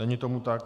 Není tomu tak.